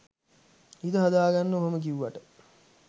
හිත හදාගන්න ඔහොම කිව්වට